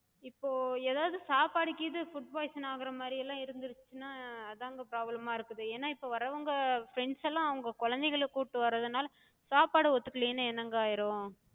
இப்போ எதாது சாப்பாடு கீது food poison ஆகுற மாரியெல்லா இருந்துச்சுனா அதாங்க problem ஆ இருக்குது. ஏனா இப்ப வரவங்க friends எல்லா அவங்க குழந்தைங்கள கூட்டு வர்றதுனால சாப்பாடு ஒத்துக்கலைனா என்னங்க ஆயிரு?